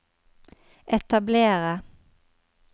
etablere